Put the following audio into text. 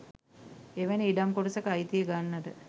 එවැනි ඉඩම් කොටසක අයිතිය ගන්නට